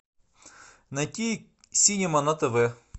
найти синема на тв